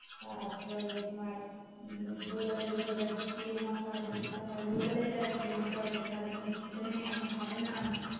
তার পর ধর ভোর বেলা উঠে ওটা কে চিরে মাখা খেতে হয় ভোর বেলায় যা খেয়ে নিতে পারবে সারাদিন কিছু খেতে নেই খাবে না